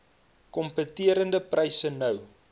kompeterende pryse nou